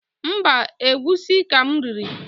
Mbaǃ Egwusi ka m riri.